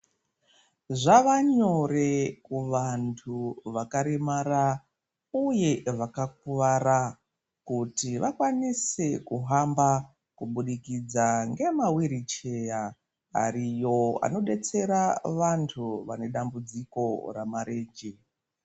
Zvava nyore kuvantu vakaremara uye vakakuwara kuti vakwanise kuhamba kubudikidza ngema wiricheya ariyo anodetsera vantu vane dambudziko ramarenje.